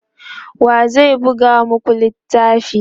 wa zai buga maku littafin?